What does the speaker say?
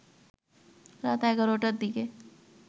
রাত ১১টার দিকে